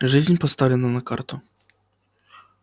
жизнь поставлена на карту